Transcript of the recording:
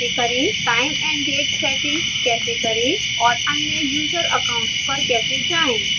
time & date settings कैसे करें और अन्य user accounts पर कैसे जाएं